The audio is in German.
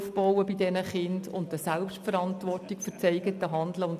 Kinder müssen Selbstvertrauen und Selbstverantwortung aufbauen.